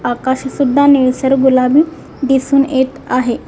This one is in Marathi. आकाश सुद्धा निळसर गुलाबी दिसून येत आहे.